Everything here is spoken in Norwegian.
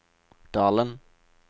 Dalen